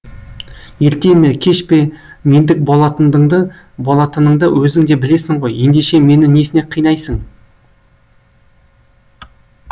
ерте ме кеш пе мендік болатыныңды өзің де білесің ғой ендеше мені несіне қинайсың